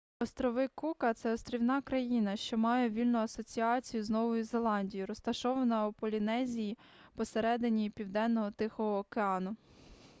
острови кука це острівна країна що має вільну асоціацію з новою зеландією розташована у полінезії посереднині південного тихого океану